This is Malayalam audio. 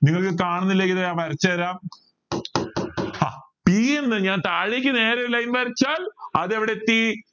താണുന്ന line ഞാൻ വരച്ചാരം ആ p എന്ന് ഞാൻ താഴേക്ക് നേരെ line വരച്ചാൽ അതെവിടെ എത്തി